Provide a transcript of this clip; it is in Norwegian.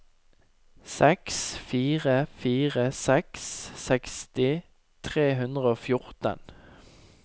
seks fire fire seks seksti tre hundre og fjorten